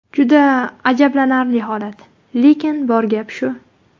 Juda ajablanarli holat, lekin bor gap shu.